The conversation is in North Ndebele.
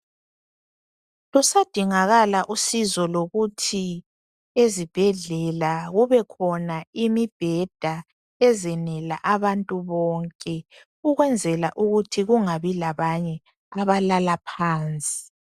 Kusadingakala usizo lokuthi ezibhedlela kubekhona imibheda ezenela abantu bonke ukwenzela ukuthi kungabi labanye abalala phansi.